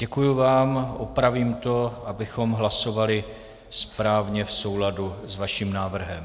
Děkuji vám, opravím to, abychom hlasovali správně v souladu s vaším návrhem.